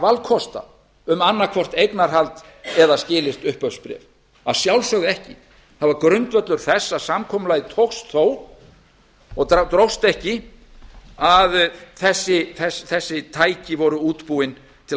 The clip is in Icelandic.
valkosta um annaðhvort eignarhald eða skilyrt upphafsbréf að sjálfsögðu ekki það var grundvöllur þess að samkomulagið tókst þó og dróst ekki að þessi tæki voru útbúin til